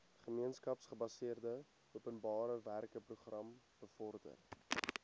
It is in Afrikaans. gemeenskapsgebaseerde openbarewerkeprogram bevorder